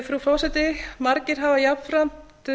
frú forseti margir hafa jafnframt